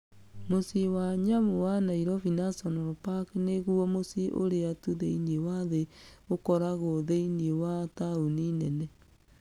Mũciĩ wa nyamũ wa Nairobi National Park nĩguo mũciĩ ũrĩa tu thĩinĩ wa thĩ ũkoragwo thĩinĩ wa taũni nene.